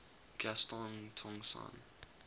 gaston tong sang